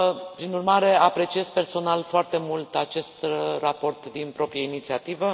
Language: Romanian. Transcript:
Prin urmare, apreciez personal foarte mult acest raport din proprie inițiativă.